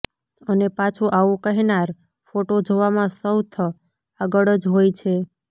અને પાછું આવું કહેનાર ફોટો જોવામાં સૌથ આગળ જ હોય છે